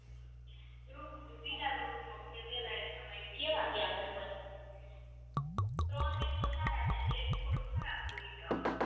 બીજા group ની મે પેલા exam ત્રણ પેપર સારા ગયા ને એક થોડુંક ખરાબ ગયુ tough હતું